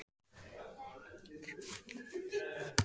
Þú kemur á morgun og þú mætir til kennslu.